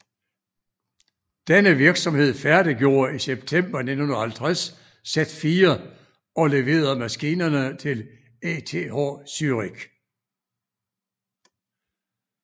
Denne virksomhed færdiggjorde i september 1950 Z4 og leverede maskinerne til ETH Zürich